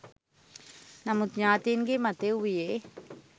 නමුත් ඥාතීන්ගේ මතය වුයේ